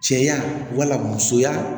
Cɛya wala musoya